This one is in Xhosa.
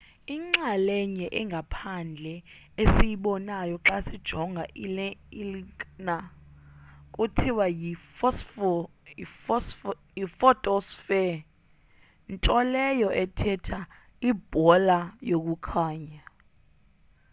inxalenye engaphandle esiyibonayo xa sijonga ilnaga kuthiwa yi-photosphere nto leyo ethetha ibhola yokukhanya